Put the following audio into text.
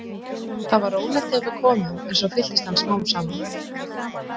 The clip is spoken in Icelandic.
Þar var rólegt þegar við komum en svo fylltist hann smám saman.